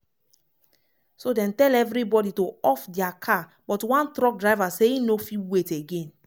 "so dem tell evribodi to off dia car but one truck driver say e no fit wait again